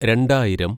രണ്ടായിരം